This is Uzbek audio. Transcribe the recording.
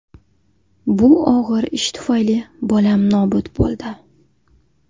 Bu og‘ir ish tufayli bolam nobud bo‘ldi.